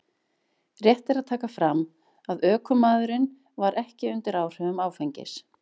Rétt er að taka fram að ökumaðurinn var ekki undir áhrifum áfengis.